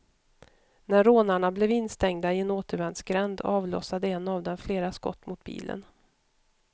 När rånarna blev instängda i en återvändsgränd, avlossade en av dem flera skott mot bilen.